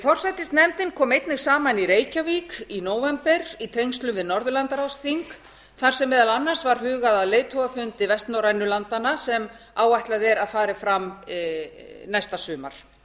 forsætisnefndin kom einnig saman í reykjavík í nóvember í tengslum við norðurlandaráðsþing þar sem meðal annars var hugað að leiðtogafundi vestnorrænu landanna sem áætlað er að fram fari næsta sumar